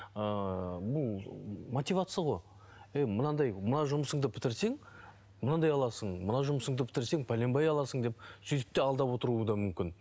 мотивация ғой ей мынадай мына жұмысыңды бітірсең мынандай аласың мына жұмысыңды бітірсең пәленбай аласың деп сөйтіп те алдап отыруы да мүмкін